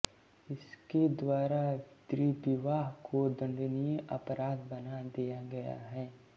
इसके द्वारा द्विविवाह को दंडनीय अपराध बना दिया गया है